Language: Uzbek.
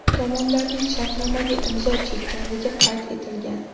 Tomonlarning shartnomaga imzo chekkanligi qayd etilgan.